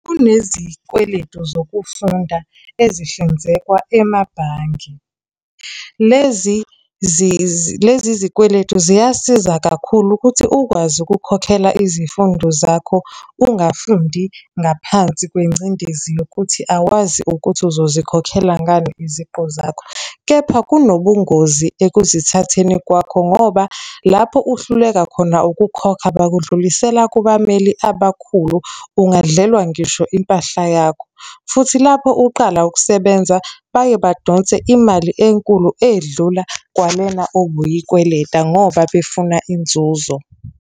Kunezikweletu zokufunda ezihlinzekwa emabhange. Lezi lezi zikweletu ziyasiza kakhulu ukuthi ukwazi ukukhokhela izifundo zakho ungafundi ngaphansi kwengcindezi yokuthi awazi ukuthi uzozikhokhela ngani iziqu zakho. Kepha kunobungozi ekuzithatheni kwakho, ngoba lapho uhluleka khona ukukhokha bakudlulisela kubameli abakhulu, ungadlelwa ngisho impahla yakho, futhi lapho uqala ukusebenza, baye badonse imali enkulu edlula kwalena obuyikweleta ngoba befuna inzuzo.